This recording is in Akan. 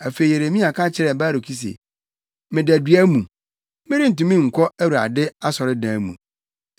Afei Yeremia ka kyerɛɛ Baruk se, “Meda dua mu; merentumi nkɔ Awurade asɔredan mu.